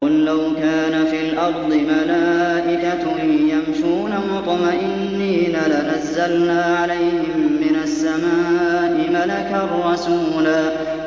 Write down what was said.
قُل لَّوْ كَانَ فِي الْأَرْضِ مَلَائِكَةٌ يَمْشُونَ مُطْمَئِنِّينَ لَنَزَّلْنَا عَلَيْهِم مِّنَ السَّمَاءِ مَلَكًا رَّسُولًا